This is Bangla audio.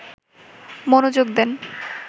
মনোযোগ দেন